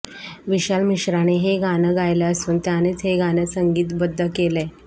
विशाल मिश्राने हे गाणं गायलं असून त्यानेच हे गाणं संगीतबद्ध केलंय